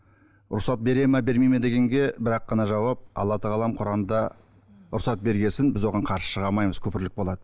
рұқсат береді ме бермейді ме дегенге бір ақ қана жауап алла тағалам құранда рұқсат берген соң біз оған қарсы шыға алмаймыз күпірлік болады